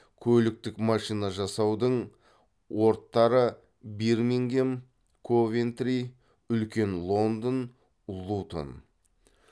көліктік машина жасаудың орт тары бирмингем ковентри үлкен лондон лутон